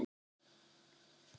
Lítið á mig!